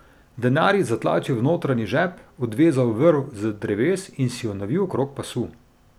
Denar je zatlačil v notranji žep, odvezal vrv z dreves in si jo navil okrog pasu.